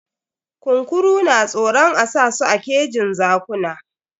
Kunkuru na tsoron a sa su a kejin zakuna.